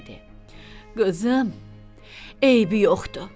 Qarə dedi: "Qızım, eybi yoxdur.